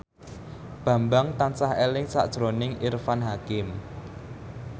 Bambang tansah eling sakjroning Irfan Hakim